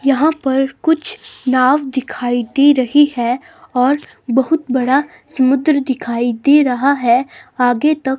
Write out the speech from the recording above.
यहां पर कुछ नाव दिखाई दे रही है और बहुत बड़ा समुद्र दिखाई दे रहा है आगे तक--